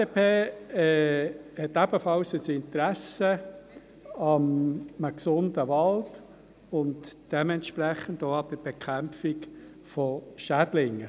Die FDP hat ebenfalls ein Interesse an einem gesunden Wald und dementsprechend auch an der Bekämpfung von Schädlingen.